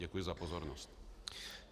Děkuji za pozornost.